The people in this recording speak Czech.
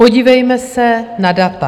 Podívejme se na data.